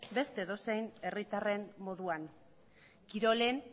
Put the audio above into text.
beste edozein herritarren moduan kirolen